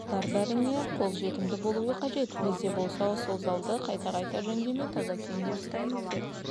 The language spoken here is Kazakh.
залдар бәріне қолжетімді болуы қажет бізде болса сол залды қайта-қайта жөндемей таза күйінде ұстаймыз деп